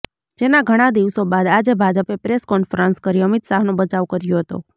જેના ઘણા દિવસો બાદ આજે ભાજપે પ્રેસ કોન્ફરન્સ કરી અમિત શાહનો બચાવ કર્યો હતો